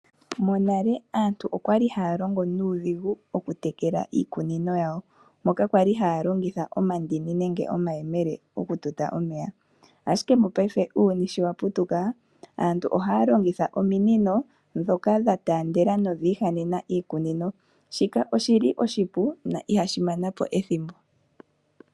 Monale aantu okwa li haya longo nuudhigu okutekela iikunino yawo, moka kwali haya longitha omandini nenge omayemele okututa omeya. Ashike mopaife uuyuni sho wa putuka, aantu ohaya longitha ominino dhoka dha taandela nodha ihanena iikunino. Shika oshi li oshipu na ihashi mana po ethimbo.